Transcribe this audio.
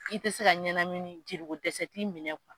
I tɛ se ka ɲɛnamini jeliko dɛsɛ ti minɛ wo.